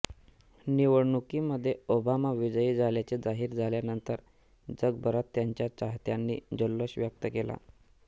निवडणुकीमध्ये ओबामा विजयी झाल्याचे जाहीर झाल्यानंतर जगभरात त्यांच्या चाहत्यांनी जल्लोष व्यक्त केला